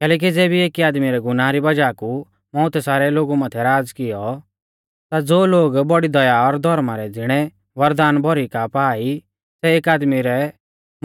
कैलैकि ज़ेबी एकी आदमी रै गुनाह री वज़ाह मौउतै सारै लोगु माथै राज़ कियौ ता ज़ो लोग बौड़ी दया और धौर्मा रै ज़िणै वरदान भौरी का पा ई सै एक आदमी रै